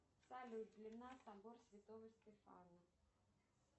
салют длина собор святого стефана